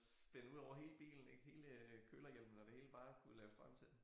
Spænde udover hele bilen ik hele kølerhjelmen og det hele bare at kunne lave strøm til